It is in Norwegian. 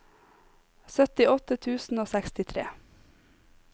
syttiåtte tusen og sekstitre